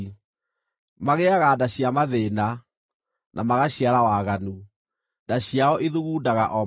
Magĩaga nda cia mathĩĩna, na magaciara waganu; nda ciao ithugundaga o maheeni.”